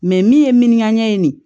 min ye min ka ɲɛɲini de